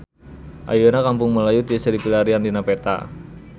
Ayeuna Kampung Melayu tiasa dipilarian dina peta